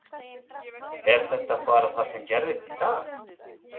Er þetta bara það sem gerðist í dag?